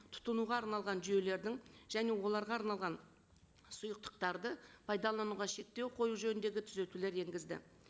тұтынуға арналған жүйелердің және оларға арналған сұйықтықтарды пайдалануға шектеу қою жөніндегі түзетулер енгізді